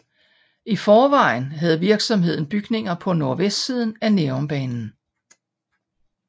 I forvejen havde virksomheden bygninger på nordvestsiden af Nærumbanen